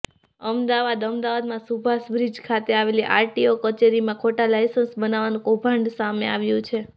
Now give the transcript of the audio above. અમદાવાદઃ અમદાવાદમાં સુભાષબ્રિજ ખાતે આવેલી આરટીઓ કચેરીમાં ખોટા લાયસન્સ બનાવવાનું કૌભાંડ સામે આવ્યું છે